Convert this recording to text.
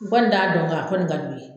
N kɔni t'a dɔn nga a kɔni ka d'u ye.